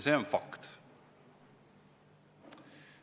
See on fakt.